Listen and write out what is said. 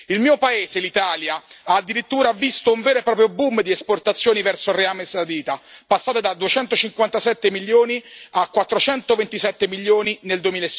Il mio paese, l'Italia, ha addirittura visto un vero e proprio boom di esportazioni verso l'Arabia Saudita, passate da 257 milioni a 427 milioni di EUR nel